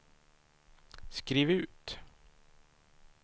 skriv ut